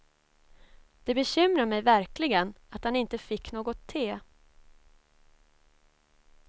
Det bekymrar mig verkligen att han inte fick något te.